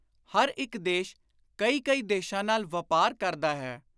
ਹਰ ਇਕ ਦੇਸ਼ ਕਈ ਕਈ ਦੇਸ਼ਾਂ ਨਾਲ ਵਾਪਾਰ ਕਰਦਾ ਹੈ।